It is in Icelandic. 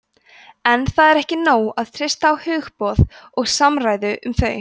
en það er ekki nóg að treysta á hugboð og samræður um þau